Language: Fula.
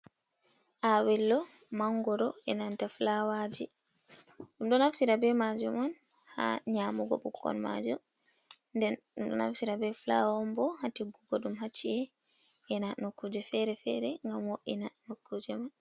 Awello mangoro e nanta flawaji ɗum ɗo nafsira be maji oun ha nyamugo bukkol maji nden ɗo naftira be flawa bo hatiggugo ɗum haci'e ina no kuje fere-fere ngam wo’ina nokkuje ma.